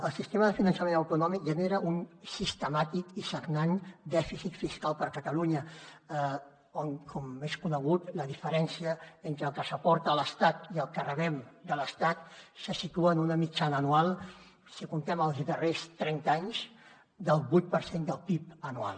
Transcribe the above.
el sistema de finançament autonòmic genera un sistemàtic i sagnant dèficit fiscal per a catalunya on com és conegut la diferència entre el que s’aporta a l’estat i el que rebem de l’estat se situa en una mitjana anual si comptem els darrers trenta anys del vuit per cent del pib anual